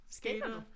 Skater du?